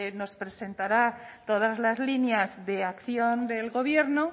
nos presentará todas las líneas de acción del gobierno